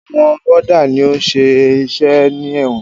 Àwọn wọ́dà ni ó ń ṣiṣẹ́ ní ẹ̀wọ̀n.